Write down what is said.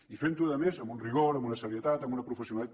i fent ho a més amb un rigor amb una serietat amb una professionalitat